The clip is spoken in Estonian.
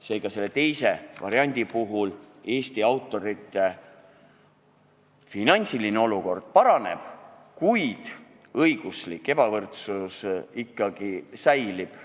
Seega, teise variandi puhul Eesti autorite finantsiline olukord paraneb, kuid õiguslik ebavõrdsus ikka säilib.